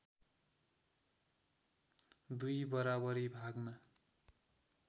दुई बराबरी भागमा